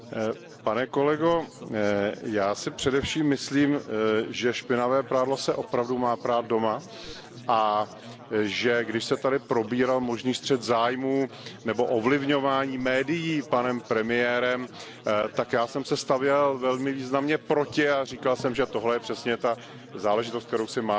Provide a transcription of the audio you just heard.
Pane kolego, já si především myslím, že špinavé prádlo se opravdu má prát doma a že když se tady probíral možný střet zájmů nebo ovlivňování médií panem premiérem, tak já jsem se stavěl velmi významně proti a říkal jsem, že tohle je přesně ta záležitost, kterou si máme